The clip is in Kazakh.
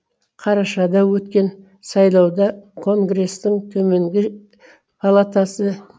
қарашада өткен сайлауда конгрестің төменгі палатасы